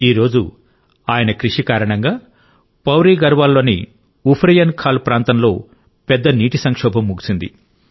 ఈ రోజు ఆయన కృషి కారణంగా పౌడి గఢ్వాల్ లోని ఉఫ్రెయిన్ ఖాల్ ప్రాంతంలో పెద్ద నీటి సంక్షోభం ముగిసింది